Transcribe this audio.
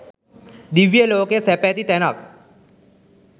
දිව්‍ය ලෝකය සැප ඇති තැනක්.